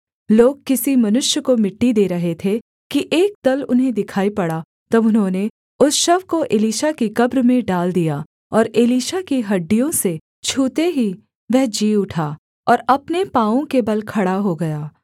लोग किसी मनुष्य को मिट्टी दे रहे थे कि एक दल उन्हें दिखाई पड़ा तब उन्होंने उस शव को एलीशा की कब्र में डाल दिया और एलीशा की हड्डियों से छूते ही वह जी उठा और अपने पाँवों के बल खड़ा हो गया